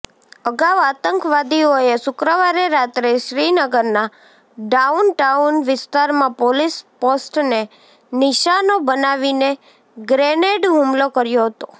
અગાઉ આતંકવાદીઓએ શુક્રવારે રાત્રે શ્રીનગરના ડાઉનટાઉન વિસ્તારમાં પોલીસ પોસ્ટને નિશાનો બનાવીને ગ્રેનેડ હુમલો કર્યો હતો